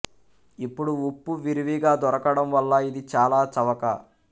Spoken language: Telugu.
ఇప్పుడు ఉప్పు విరివిగా దొరకడం వల్ల ఇది చాల చవక